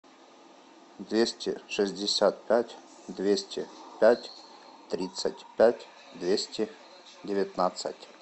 двести шестьдесят пять двести пять тридцать пять двести девятнадцать